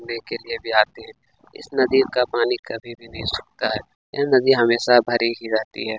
घुमने के लिए भी आते है इस नदी का पानी कभी भी नही सुखता है यह नदी हमेशा भरी ही रहती है।